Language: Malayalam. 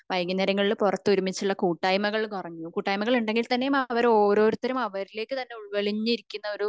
വൈകുന്നേരങ്ങളിൽ പുറത്തു ഒരുമിച്ചുള്ള കൂട്ടായ്മകൾ കുറഞ്ഞു കൂട്ടായ്മകൾ ഉണ്ടെങ്കിൽ തന്നെയും അവർ ഓരോരുത്തരും അവരിലേക്ക്‌ തന്നെ ഉൾവലിഞ്ഞു ഇരിക്കുന്നൊരു